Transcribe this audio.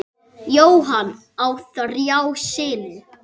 Jóhann á þrjá syni.